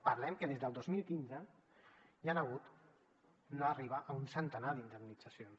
parlem que des del dos mil quinze hi han hagut no arriba a un centenar d’indemnitza cions